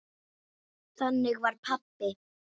Þannig var pabbi.